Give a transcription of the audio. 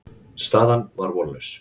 Staðan var vonlaus.